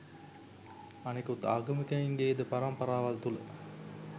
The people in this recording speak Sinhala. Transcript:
අනිකුත් ආගමිකයින්ගේද පරම්පරාවල් තුල